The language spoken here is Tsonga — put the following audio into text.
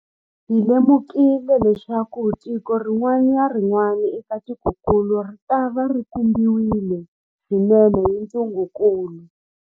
Hi lemukile leswaku tiko rin'wana na rin'wana eka tikokulu ritava ri khumbiwile swinene hi ntungukulu.